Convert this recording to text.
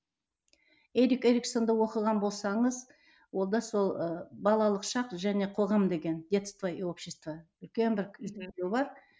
эрик эриксонды оқыған болсаңыз ол да сол ы балалық шақ және қоғам деген детство и общества үлкен бір бар